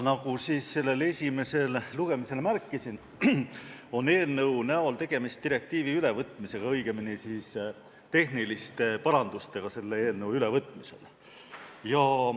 Nagu ma esimesel lugemisel märkisin, on eelnõu näol tegemist direktiivi ülevõtmisega, õigemini tehniliste parandustega selle eelnõu üle võtmisel.